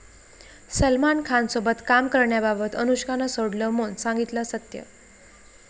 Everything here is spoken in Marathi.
सलमान खानसोबत काम करण्याबाबत अनुष्कानं सोडलं मौन, सांगितलं सत्य